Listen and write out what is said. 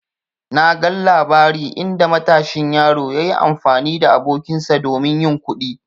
Na gan labari inda matashin yaro yayi amfani da abokinsa domin yin kuɗi.